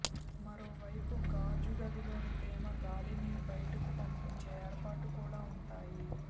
మరోవైపు గాజు గదిలోని తేమ గాలిని బయటకు పంపించే ఏర్పాటు కూడా ఉంటాయి